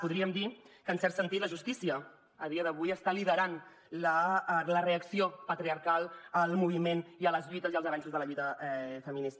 podríem dir que en cert sentit la justícia a dia d’avui està liderant la reacció patriarcal al moviment i a les lluites i els avanços de la lluita feminista